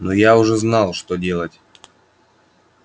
но я уже знал что делать